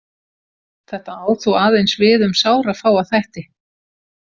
Þetta á þó aðeins við um sárafáa þætti.